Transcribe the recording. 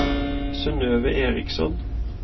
Synøve Eriksson